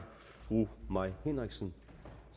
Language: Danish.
det fru mai henriksen